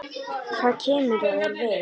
Hvað kemur það þér við?